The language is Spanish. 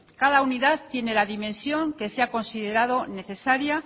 cada unidad tiene la dimensión que se ha considerado necesaria